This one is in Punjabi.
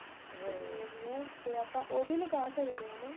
ਜਿਵੇਂ ਵੀ ਏ ਉਹ ਵੀ ਲਗਾ ਸਕਦੇ ਹਾਂ